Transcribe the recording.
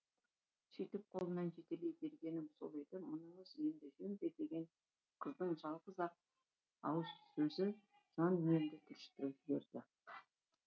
сөйтіп қолынан жетелей бергенім сол еді мұныңыз енді жөн бе деген қыздың жалғыз ақ ауыз сөзі жан дүниемді түршіктіріп жіберді